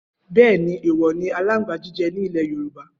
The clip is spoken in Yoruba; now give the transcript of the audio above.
Bẹẹni, ẹwò ni àlàńgbà jíjẹ̀ ni ìlé yorùbá